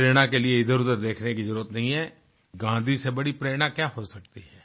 प्रेरणा के लिए इधरउधर देखने की जरुरत नहीं है गाँधी से बड़ी प्रेरणा क्या हो सकती है